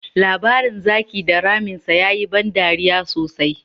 Labarin Zaki da Ramin sa ya yi ban dariya sosai.